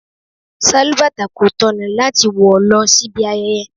Sálúbàtà kò tọ̀nà láti wọ lọ síbi ayẹyẹ.